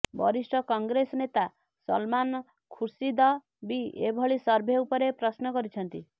ବରିଷ୍ଠ କଂଗ୍ରେସ ନେତା ସଲମାନ ଖୁର୍ସିଦ ବି ଏଭଳି ସର୍ଭେ ଉପରେ ପ୍ରଶ୍ନ କରିଛନ୍ତି